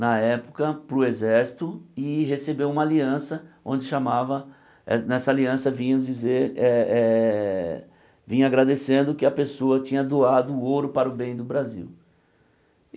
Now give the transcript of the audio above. na época, para o exército, e recebeu uma aliança, onde chamava... Nessa aliança vinha dizer eh eh... Vinha agradecendo que a pessoa tinha doado ouro para o bem do Brasil.